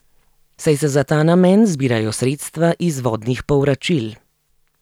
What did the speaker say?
Saj se za ta namen zbirajo sredstva iz vodnih povračil.